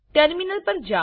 terminal પર જાઓ